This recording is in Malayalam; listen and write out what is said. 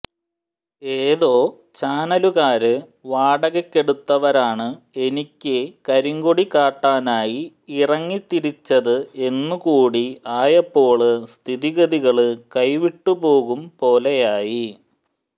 ഏതോ ചാനലുകാര് വാടകക്കെടുത്തവരാണ് എനിക്ക് കരിങ്കൊടി കാട്ടാനായി ഇറങ്ങിത്തിരിച്ചത് എന്നു കൂടി ആയപ്പോള് സ്ഥിതിഗതികള് കൈവിട്ടുപോകും പോലെയായി